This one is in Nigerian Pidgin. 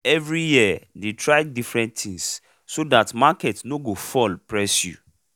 every year dey try different thing so that market nor go fall press you